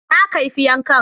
Na kaifi yankan